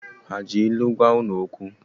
Ha ji ilu gwa ụnụ okwu?